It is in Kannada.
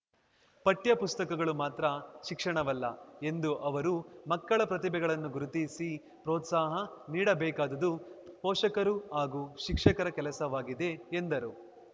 ಪಠ್ಯ ಪುಸ್ತಕಗಳು ಮಾತ್ರ ಶಿಕ್ಷಣವಲ್ಲ ಎಂದು ಅವರು ಮಕ್ಕಳ ಪ್ರತಿಭೆಗಳನ್ನು ಗುರುತಿಸಿ ಪ್ರೋತ್ಸಾಹ ನೀಡಬೇಕಾದುದು ಪೋಷಕರು ಹಾಗೂ ಶಿಕ್ಷಕರ ಕೆಲಸವಾಗಿದೆ ಎಂದರು